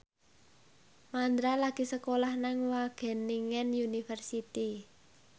Mandra lagi sekolah nang Wageningen University